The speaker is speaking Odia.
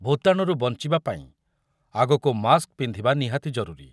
ଭୂତାଣୁରୁ ବଂଚିବା ପାଇଁ ଆଗକୁ ମାସ୍କ ପିନ୍ଧିବା ନିହାତି ଜରୁରୀ।